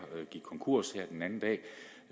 gik konkurs